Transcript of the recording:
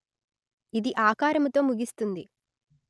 ఇది ఆకారముతో ముగిస్తుంది